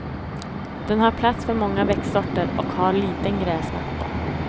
Den har plats för många växtsorter och har liten gräsmatta.